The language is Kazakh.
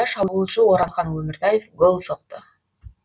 шабуылшы оралхан өміртаев гол соқты